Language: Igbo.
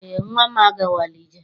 Eé, nnwa m agawala ije.